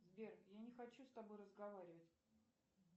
сбер я не хочу с тобой разговаривать